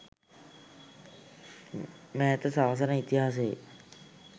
මෑත සාසන ඉතිහාසයේ